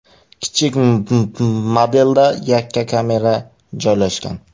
Kichik modelda yakka kamera joylashgan.